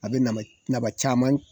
A bɛ naba nafa caman di